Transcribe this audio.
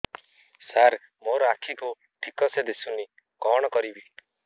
ସାର ମୋର ଆଖି କୁ ଠିକସେ ଦିଶୁନି କଣ କରିବି